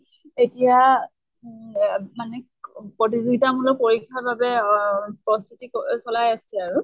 এতিয়া উ অহ মানে ক প্ৰতিযোগিতা মূলক পৰীক্ষাৰ বাবে অহ প্ৰস্তুতি ক চলাই আছে আৰু।